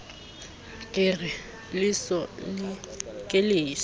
re ke leso ke leso